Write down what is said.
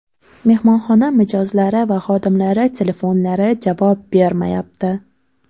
Mehmonxona mijozlari va xodimlari telefonlari javob bermayapti.